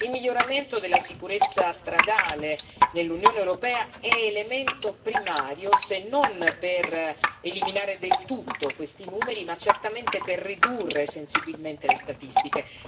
Il miglioramento della sicurezza stradale nell'Unione europea è elemento primario, se non per eliminare del tutto questi numeri, certamente per ridurre sensibilmente le statistiche.